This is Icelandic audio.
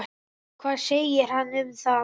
Hvað segir hann um það?